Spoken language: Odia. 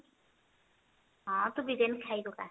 ହଁ ତୁ ବିରିୟାନୀଖାଇ ପକା